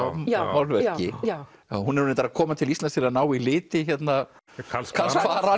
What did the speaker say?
málverki hún er reyndar að koma til Íslands að ná í liti Karls Kvaran